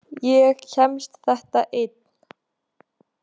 Ég kemst þetta einn.